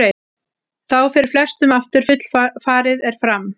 Þá fer flestum aftur að fullfarið er fram.